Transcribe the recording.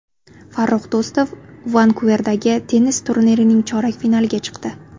Farrux Do‘stov Vankuverdagi tennis turnirining chorak finaliga chiqdi.